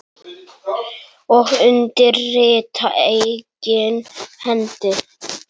Og undir rita eigin hendi